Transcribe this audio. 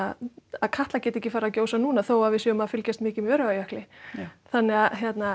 að Katla geti ekki farið að gjósa núna þó að við séum að fylgjast mikið með Öræfajökli þannig að